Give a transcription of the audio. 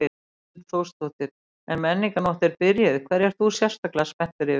Hrund Þórsdóttir: En Menningarnótt er byrjuð, hverju ert þú sérstaklega spenntur yfir?